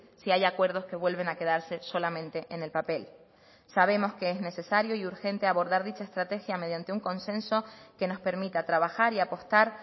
si hay acuerdos que vuelven a quedarse solamente en el papel sabemos que es necesario y urgente abordar dicha estrategia mediante un consenso que nos permita trabajar y apostar